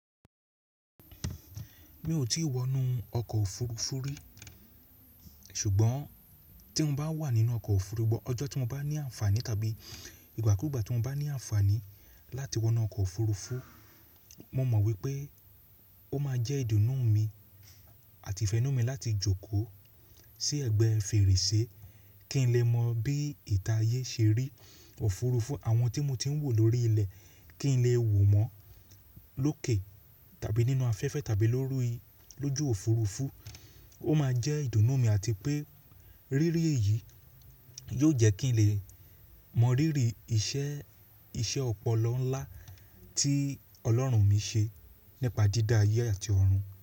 Mi ò tí ì wọnú ọkọ̀ òfurufú rí ṣùgbọ́n tí n bá wà nínú ọkọ̀ òfurufú ọjọ́ tí mo bá ní àǹfààní tàbí ìgbàkúgbà tí mo bá ní àǹfààní láti wọnú ọkọ̀ òfurufú, mo mọ̀ wípé ó máa jẹ́ ìdùnnú mi àti ìfẹ́nú mi láti jókòó sí ẹ̀gbẹ́ fèrèsé kí n lè mọ bí ìta ayé ṣe rí òfurufú àwọn tí mo ti ń wò lórí ilẹ̀ kí n lè wò wọ́n lókè tàbí nínú afẹ́fẹ́ tàbí lójú òfurufú. Ó máa jẹ́ ìdùnnú mi àti pé rírí èyí yóò jẹ́ kí n lè mọ rírì iṣẹ́ ọpọlọ ńlá tí Ọlọ́run mi ṣe nípa dídá ayé àti ọ̀run.